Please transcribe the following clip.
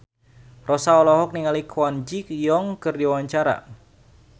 Rossa olohok ningali Kwon Ji Yong keur diwawancara